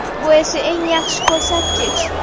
Bu esa eng yaxshi ko‘rsatkich.